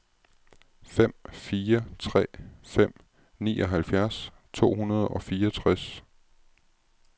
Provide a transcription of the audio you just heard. fem fire tre fem nioghalvfjerds to hundrede og fireogtres